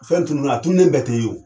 Fɛn tununna a tunnen bɛɛ te ye wo.